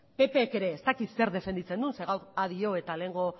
ppek ere ez dakit zer defenditzen duen zeren gaur a dio eta